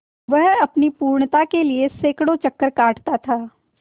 वह अपनी पूर्णता के लिए सैंकड़ों चक्कर काटता था